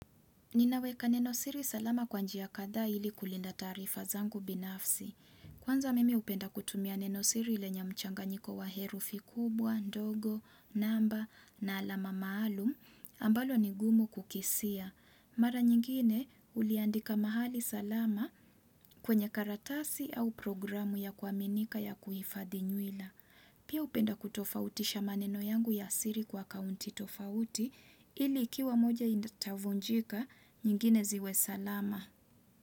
Ninaweka neno siri salama kwanjia kadhaa ili kulinda taarifa zangu binafsi. Kwanza mimi hupenda kutumia neno siri lenye mchanganyiko wa herufi kubwa, ndogo, namba, na alama maalum, ambalo nigumu kukisia. Mara nyingine uliandika mahali salama kwenye karatasi au programu ya kuaminika ya kuhifadhi nywila. Pia hupenda kutofautisha maneno yangu ya siri kwa akaunti tofauti ili ikiwa moja itavunjika nyingine ziwe salama.